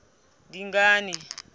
dingane